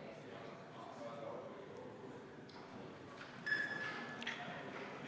Hääletustulemused